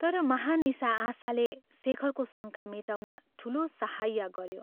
तर महानिशा आशाले शेखरको शङ्का मेटाउन ठूलो सहाय्य गऱ्यो।